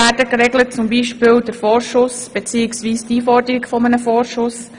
die Regelung der Geldfragen wie die Einforderung des Vorschusses;